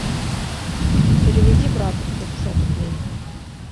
переведи брату сто пятьдесят рублей